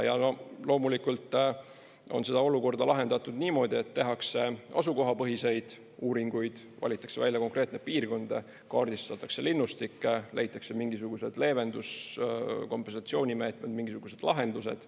Ja loomulikult on seda olukorda lahendatud niimoodi, et tehakse asukohapõhiseid uuringuid, valitakse välja konkreetne piirkond, kaardistatakse linnustik, leitakse mingisugused leevendus‑, kompensatsioonimeetmed, mingisugused lahendused.